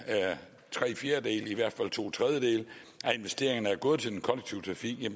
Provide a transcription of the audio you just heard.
tre fjerdedele eller i hvert fald to tredjedele af investeringerne er gået til den kollektive trafik